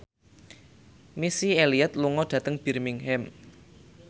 Missy Elliott lunga dhateng Birmingham